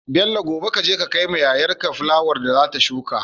Bello gobe kaje ka kai wa yayar ka fulawar da zata shuka